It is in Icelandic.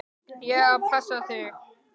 Ég á að passa þig, sagði Bergþóra.